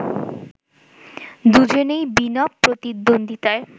দুজনই বিনা প্রতিদ্বন্দ্বিতায়